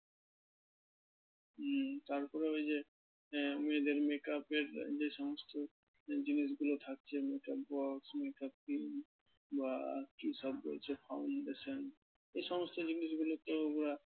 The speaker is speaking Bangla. হুম তার পরে ওই আহ মেয়েদের make up এর যে সমস্ত জিনিসগুলো থাকছে make up box, make up kit বা কি সব রয়েছে foundation এই সমস্ত জিনিসগুলো তো ওরা